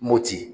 Mopti